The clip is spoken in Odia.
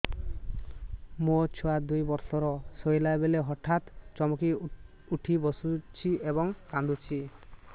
ମୋ ଛୁଆ ଦୁଇ ବର୍ଷର ଶୋଇଲା ବେଳେ ହଠାତ୍ ଚମକି ଉଠି ବସୁଛି ଏବଂ କାଂଦୁଛି